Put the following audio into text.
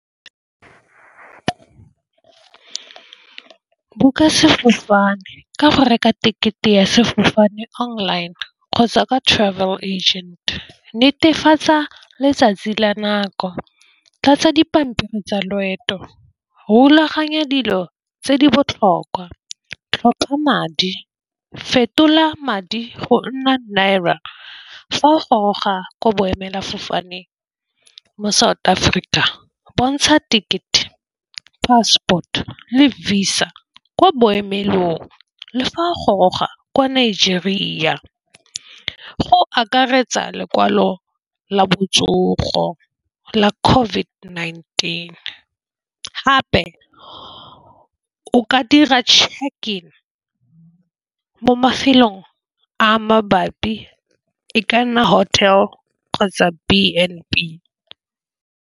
Book-a sefofane ka go reka tekete ya sefofane online kgotsa ka travel agent. Netefatsa letsatsi la nako tlatsa dipampiri tsa loeto rulaganya dilo tse di botlhokwa. Tlhopha madi, fetola madi go nna Naira fa o goroga ko boemela fofaneng mo South Africa bontsha tekete, passport le visa ko boemelong le fa goroga kwa Nigeria go akaretsa lekwalo la botsogo la COVID-19. Gape o ka dira check-e mo mafelong a mabapi e ka nna hotel kgotsa B_N_B.